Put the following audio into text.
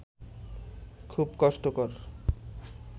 খুব কষ্টকর